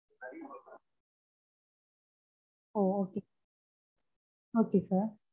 okay sir